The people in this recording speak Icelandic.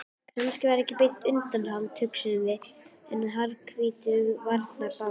Kannski ekki beint undanhald, hugsuðum við, en harðvítug varnarbarátta.